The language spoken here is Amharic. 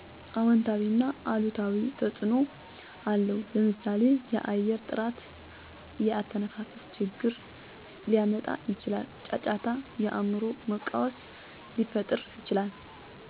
አውንታዊና አሉታዊ ተፅዕኖ አለው ለምሳሌ የአየር ጥራት የአተነፋፈስ ችግር ሊያመጣ ይችላል። ጫጫታ የአእምሮ መቃወስ ሊፈጥር ይችላል።